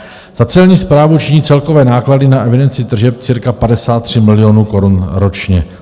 Za Celní správu činí celkové náklady na evidenci tržeb cirka 53 milionů korun ročně.